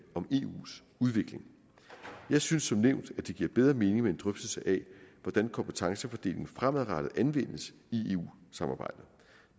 om eus udvikling jeg synes som nævnt at det giver bedre mening med en drøftelse af hvordan kompetencefordelingen fremadrettet anvendes i eu samarbejdet